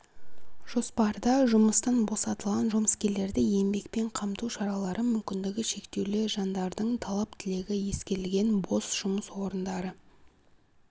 жоспарда жұмыстан босатылған жұмыскерлерді еңбекпен қамту шаралары мүмкіндігі шектеулі жандардың талап-тілегі ескерілген бос жұмыс орындары